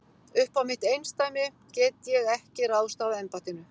Uppá mitt eindæmi get ég ekki ráðstafað embættinu.